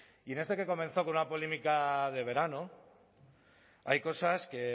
y esto que comenzó con una polémica de verano hay cosas que